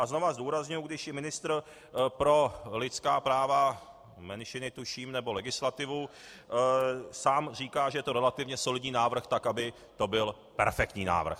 A znovu zdůrazňuji, když i ministr pro lidská práva, menšiny tuším, nebo legislativu sám říká, že je to relativně solidní návrh, tak aby to byl perfektní návrh.